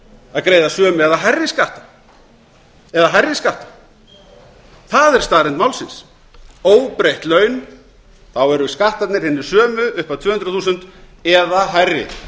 að greiða sömu eða hærri skatta það er staðreynd málsins óbreytt laun þá eru skattarnir hinir sömu upp að tvö hundruð þúsund eða hærri